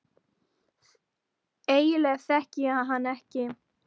Eiginlega þekkti ég hann ekki neitt.